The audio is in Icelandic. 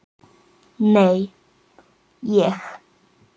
Nei, ég.